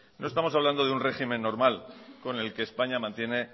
no estamos hablando de un régimen normal con el que españa mantiene